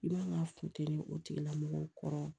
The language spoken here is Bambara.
I man ka funte o tigilamɔgɔw kɔrɔ